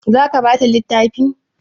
Za ka bata littafi?